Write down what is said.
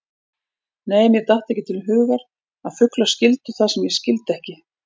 Nei, mér datt ekki til hugar að fuglar skildu það sem ég skildi ekki.